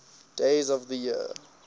days of the year